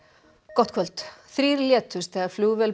gott kvöld þrír létust þegar flugvél